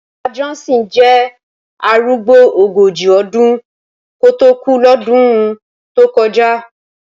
Bàbá Johnson jẹ́ arúgbó ogójì ọdún kó tó kú lọ́dún tó kọjá